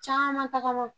Caman tagama